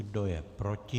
Kdo je proti?